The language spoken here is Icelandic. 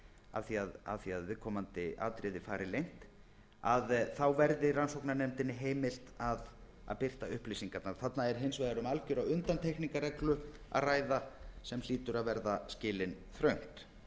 að því að viðkomandi atriði fari leynt að þá verði rannsóknarnefndinni heimilt að birta upplýsingarnar þarna er hins vegar um algjöra undantekningarreglu að ræða sem hlýtur að verða skilin þröngt